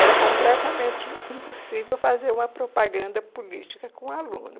Era completamente impossível fazer uma propaganda política com aluno.